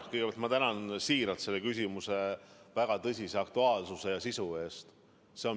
Kõigepealt ma tänan siiralt selle küsimuse eest, see on väga aktuaalne ja tõsise sisuga.